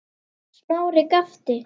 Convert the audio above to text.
Smári gapti.